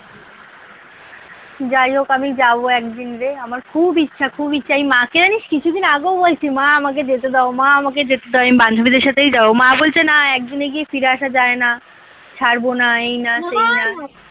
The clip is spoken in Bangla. যাইহোক আমি যাব একদিন রে আমার খুব ইচ্ছা খুব ইচ্ছা এই মাকে জানিস কিছুদিন আগেও বলছি মা আমাকে যেতে দাও মা আমাকে যেতে দাও আমি বান্ধবীদের সাথেই যাব মা বলছে না একদিনে গিয়ে ফিরে আসা যায় না ছাড়ব না এই না সেই না